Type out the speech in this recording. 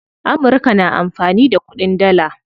Amurka na amfani da kuɗin dalla.